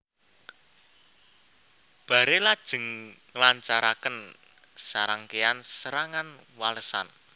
Barre lajeng nglancaraken sarangkéyan serangan walesan